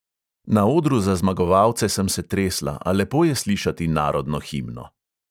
Na odru za zmagovalce sem se tresla, a lepo je slišati narodno himno.